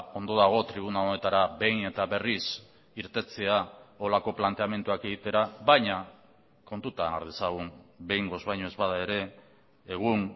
ondo dago tribuna honetara behin eta berriz irtetea horrelako planteamenduak egitera baina kontutan har dezagun behingoz baino ez bada ere egun